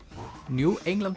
New England